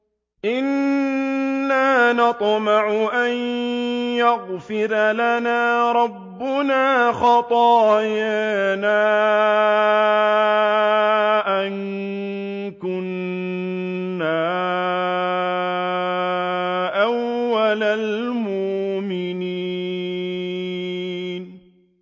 إِنَّا نَطْمَعُ أَن يَغْفِرَ لَنَا رَبُّنَا خَطَايَانَا أَن كُنَّا أَوَّلَ الْمُؤْمِنِينَ